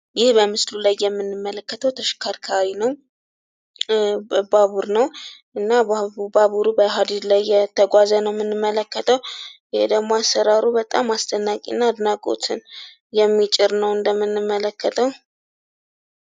ይህ በምስሉ ላይ የምንመለከተው ተሽከርካሪ ነው ባቡር ነው፤ እና ባቡሩ በሃድድ ላይ እየተጕዘ ነው የምንመለከተው። ይሄ ደግሞ አሰራሩ በጣም አስደናቂ እና አድናቆትን የሚጭር ነው እንደምንመለከተው።